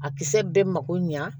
A kisɛ bɛɛ mago ɲa